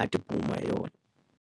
a ti hi yona.